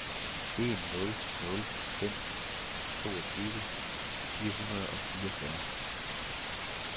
en nul nul fem toogtyve fire hundrede og fireogfyrre